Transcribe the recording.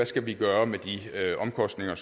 skal gøre med de omkostninger